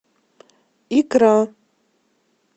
икра